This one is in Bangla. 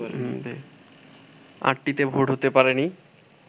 আটটিতে ভোট হতে পারেনি